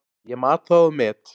Ég mat það og met.